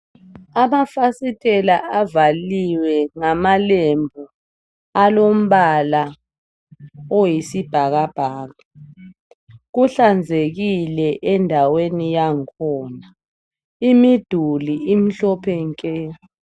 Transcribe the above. Amafasitela avaliwe ngamaqembu alombala oyisibhakabhaka. Kuhlanzekile endaweni yangkhona, imiduli imhlophe nke.